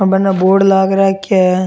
और बनने बोर्ड लाग राख्यो है।